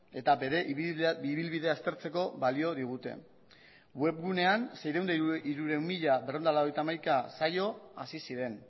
eta bere ibilbidea aztertzeko balio digute webgunean saio hasi ziren hirurehun eta hirurogeita hamasei